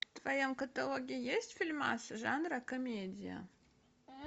в твоем каталоге есть фильмасы жанра комедия